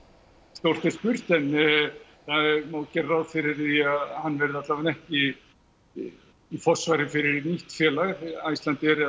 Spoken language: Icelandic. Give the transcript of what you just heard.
stórt er spurt en það má gera ráð fyrir því að hann verði alla vega ekki í í forsvari fyrir nýtt félag Icelandair eða